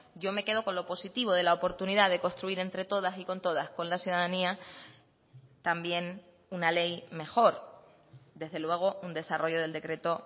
yo me quedo con lo positivo de la oportunidad de construir entre todas y con todas con la ciudadanía también una ley mejor desde luego un desarrollo del decreto